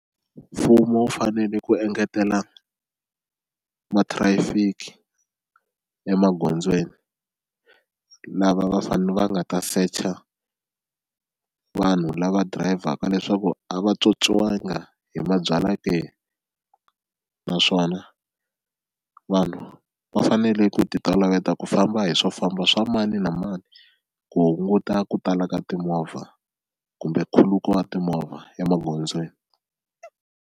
Mfumo wu fanele ku engetela ma-traffic emagondzweni lava va fane va nga ta secha vanhu lava dirayivhaka leswaku a va tswotswiwanga hi mabyalwa ke, naswona vanhu va fanele ku ti toloveta ku famba hi swo famba swa mani na mani ku hunguta ku tala ka timovha kumbe nkhuluko wa timovha emagondzweni.